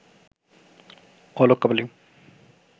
Alok Kapali